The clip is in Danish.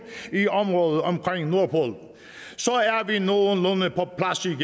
i området omkring nordpolen så